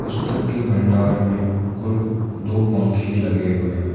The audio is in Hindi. पुस्तक के भंडार मे कुल दो पंखे लगे हुए हैं।